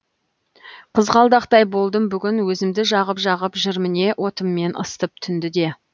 қызғалдақтай болдым бүгін өзімді жағып жағып жыр міне отыммен ысытып түнді де